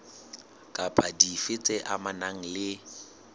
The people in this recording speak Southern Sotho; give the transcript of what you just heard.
kapa dife tse amanang le